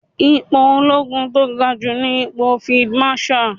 Ipò olóogun tó ga jù ní ipò Field Marshal.